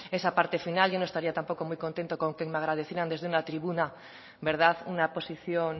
esa parte final yo no estaría tampoco muy contento con que me agradecieran desde una tribuna verdad una posición